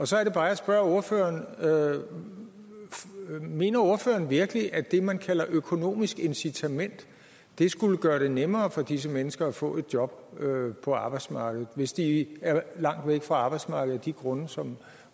så er det bare jeg spørger ordføreren mener ordføreren virkelig at det man kalder økonomisk incitament skulle gøre det nemmere for disse mennesker at få et job på arbejdsmarkedet hvis de er langt væk fra arbejdsmarkedet af de grunde som